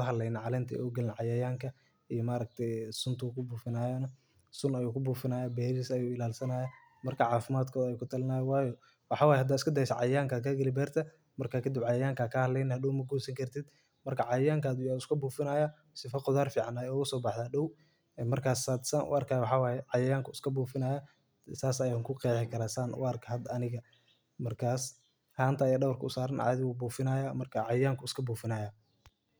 aburanaya marka in aa beerta cayayanka kabufiso si ee qudhar fican kuso baxdo hanta aya dawarka usaran marka cayayanka ayu iska bufini haya marka sas ayan arki haya makasayi walalow ben man isku shegeyna.